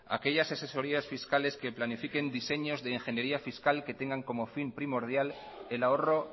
aquellas asesorías fiscales que planifiquen diseños de ingeniería fiscal y que tengan como fin primordial el ahorro